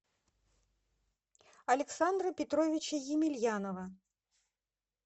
александра петровича емельянова